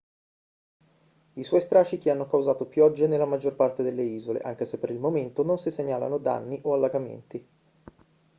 i suoi strascichi hanno causato piogge nella maggior parte delle isole anche se per il momento non si segnalano danni o allagamenti